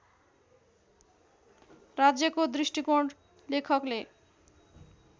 राज्यको दृष्टिकोण लेखकले